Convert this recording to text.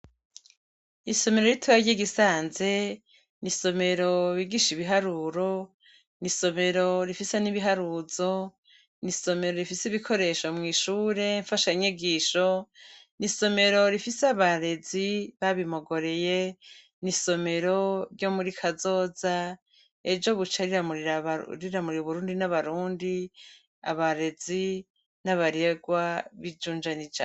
Isomero ritoyi ryi Gisanze, ni isomero bigisha ibiharuro, isomero rifise n'ibiharuzo, n'isomero rifise ibikoresho mw'ishure mfashanyigisho, isomero rifise abarezi, babimogoreye, n'isomero ryo muri kazoza, ejo buca riramurira abarundi n'Uburundi, n'abarefwa binjunja n'ijambo.